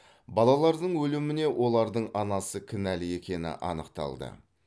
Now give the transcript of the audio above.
балалардың өліміне олардың анасы кінәлі екені анықталды